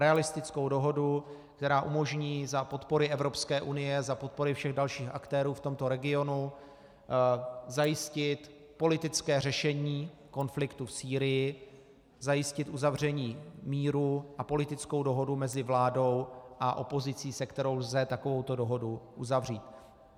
Realistickou dohodu, která umožní za podpory Evropské unie, za podpory všech dalších aktérů v tomto regionu zajistit politické řešení konfliktu v Sýrii, zajistit uzavření míru a politickou dohodu mezi vládou a opozicí, se kterou lze takovouto dohodu uzavřít.